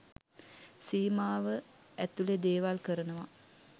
සීමාව ඇතුළෙ දේවල් කරනවා.